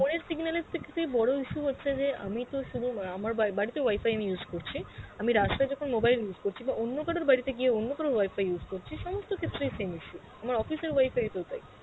phone এর signal বড় issue হচ্ছে যে আমি তো সুধু আ~ আমার বাড়িতে আমি wi-fi use করছি, আমি রাস্তায় যখন mobile use করছি বা অন্য কারোর বাড়িতে গিয়ে অন্য কারোর wi-fi use করছি, সমস্ত ক্ষেত্রেই same issue আমার office এর wi-fi তেও তাই